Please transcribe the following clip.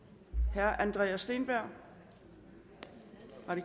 herre andreas steenberg